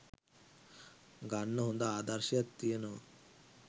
ගන්න හොඳ ආදර්ශයක් තියෙනවා